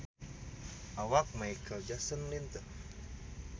Awak Micheal Jackson lintuh